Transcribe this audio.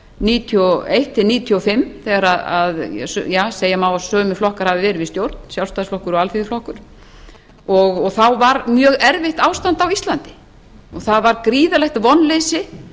níutíu og eitt til nítján hundruð níutíu og fimm þegar segja má að sömu flokkar hafi verið í stjórn sjálfstæðisflokkur og alþýðuflokkur og þá var mjög erfitt ástand á íslandi og það var gríðarlegt vonleysi